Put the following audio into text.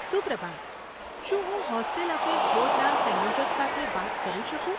સુપ્રભાત. શું હું hostel affairs બોર્ડના સંયોજક સાથે વાત કરી શકું?